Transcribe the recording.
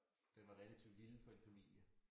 Den var relativt lille for en familie